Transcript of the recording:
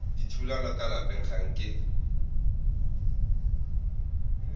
dithulano ka lapeng ga nke